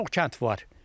E, çox kənd var.